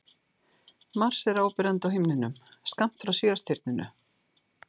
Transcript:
Mars er áberandi á himninum skammt frá Sjöstirninu.